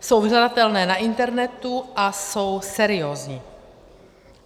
Jsou dohledatelné na internetu a jsou seriózní.